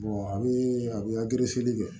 a bɛ a bɛ kɛ